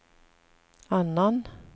annan